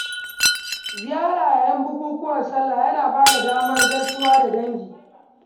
Ziyara yayin bukukuwan salla yana bada damar gaisawa da dangi